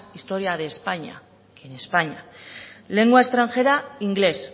historia de españa que en españa lengua extranjera inglés